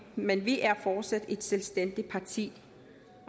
men vi er fortsat et selvstændigt parti